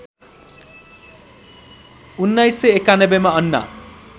१९९१ मा अन्ना